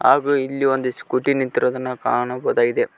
ಹಾಗು ಇಲ್ಲಿ ಒಂದು ಸ್ಕೂಟಿ ನಿಂತಿರುವುದನ್ನು ಕಾಣಬಹುದಾಗಿದೆ.